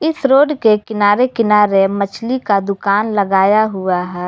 इस रोड के किनारे किनारे मछली का दुकान लगाया हुआ है।